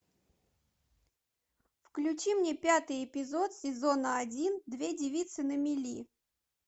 включи мне пятый эпизод сезона один две девицы на мели